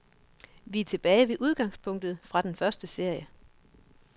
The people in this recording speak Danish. Vi er tilbage ved udgangspunktet fra den første serie.